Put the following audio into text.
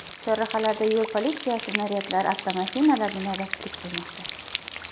Chorrahalarda yo‘l politsiyasi naryadlari avtomashinalarda navbatchilik qilmoqda.